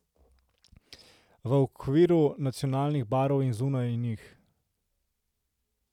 V okviru nacionalnih barv in zunaj njih.